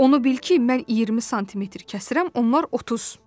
Onu bil ki, mən 20 sm kəsirəm, onlar 30.